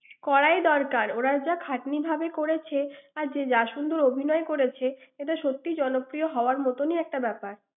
করাই দরকার। ওরা খাটনি ভাবে করেছে। আর যে যা শুধু অভিনয় করেছে, এটা সত্যি জনপ্রিয় হওয়ার মতোনই একটা ব্যাপার।